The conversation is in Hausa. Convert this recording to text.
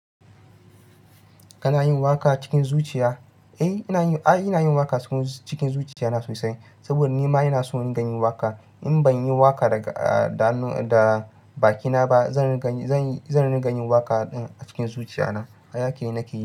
Kana yin waƙa cikin zuciya? Eh inayin ai ina yin waƙa cikin zuciya na sosai. Saboda ni ma ina son in dingayin waƙa. In ban yi waƙa da bakina ba, zan ringa yin waƙa a cikin zuciya na. Hayake na keyi.